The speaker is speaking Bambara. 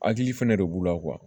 Hakili fɛnɛ de b'u la